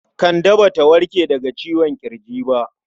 Kande Ba ta warke daga ciwon ƙirji ba.